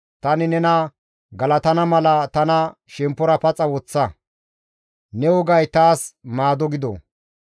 Tani nena galatana mala tana shemppora paxa woththa; ne wogay taas maado gido.